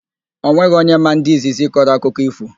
Onweghị onye maa ndị izizi kọrọ akụkọ ífò.